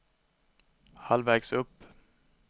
halvvägs upp